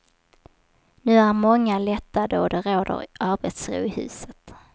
Nu är många lättade och det råder arbetsro i huset.